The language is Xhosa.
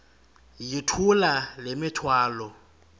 yithula le mithwalo